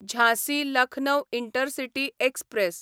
Jhansi Lucknow intercity express